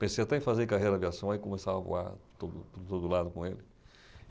Pensei até em fazer carreira de aviação, aí começava a voar por todo por todo lado com ele.